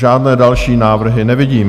Žádné další návrhy nevidím.